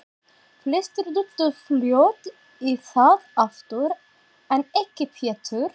Flestir duttu fljótt í það aftur, en ekki Pétur.